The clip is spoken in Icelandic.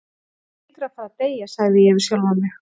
Hann hlýtur að fara að deyja, sagði ég við sjálfan mig.